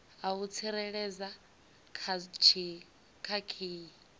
a u tsireledza kha khiyi